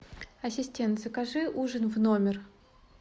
ассистент закажи ужин в номер